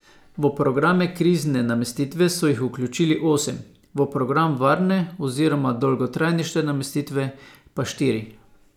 V programe krizne namestitve so jih vključili osem, v program varne oziroma dolgotrajnejše namestitve pa štiri.